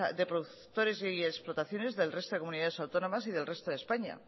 de productores y explotaciones del resto de comunidades autónomas y del resto de españa